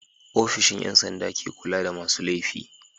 ofishin Yan sanda ke kulada masu lefi